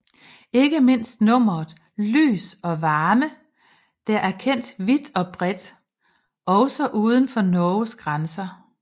Ikke mindst nummeret Lys og Varme der er kendt vidt og bredt også uden for Norges grænser